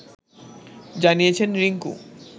জানিয়েছেন রিংকু